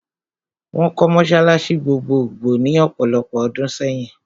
Wọ́n kọ́ mọ́sálásí gbogbogbò ní ọ̀pọ̀lopọ̀ ọdún sẹ́yìn.